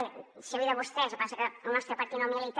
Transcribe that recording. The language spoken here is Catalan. bé seu i de vostès passa que al nostre partit no milita